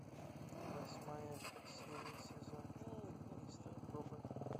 восьмая серия сезон четыре мистер робот